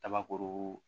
Kabakuru